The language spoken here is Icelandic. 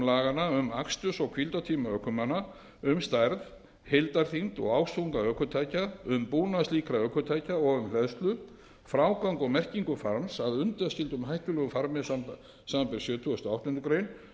laganna um aksturs og hvíldartíma ökumanna um stærð heildarþyngd og ásþunga ökutækja um búnað slíkra ökutækja og um hleðslu frágang og merkingu farms að undanskildum hættulegum farmi samanber sjötugasta og áttundu grein